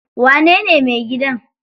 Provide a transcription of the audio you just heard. Wanene mai gidan?